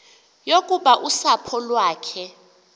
yokuba usapho lwakhe